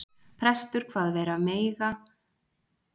Prestur kvað vera mega að hann fyndist ef honum væri griðum heitið.